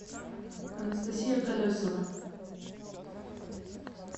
анастасия колесова